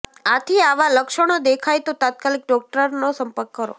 આથી આવા લક્ષણો દેખાય તો તાત્કાલીક ડોક્ટરનો સંપર્ક કરો